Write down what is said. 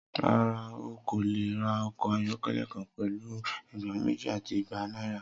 Rara, o ko le ra ọkọ ayọkẹlẹ kan pẹlu ẹgbẹrun meji ati igba naira.